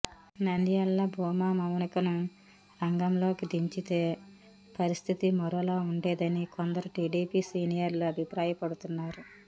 నంద్యాలలో భూమా మౌనికను రంగంలకి దించితే పరిస్థితి మరోలా ఉండేదని కొందరు టిడిపి సీనియర్లు అభిప్రాయపడుతున్నారు